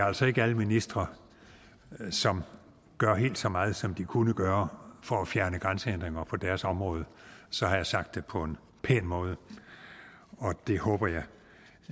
altså ikke er alle ministre som gør helt så meget som de kunne gøre for at fjerne grænsehindringer på deres område så har jeg sagt det på en pæn måde og det håber jeg